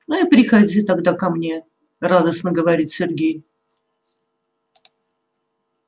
ну и приходи тогда ко мне радостно говорит сергей